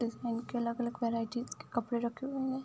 के अलग-अलग वेरायटीज के कपड़े रखे हुए हैं।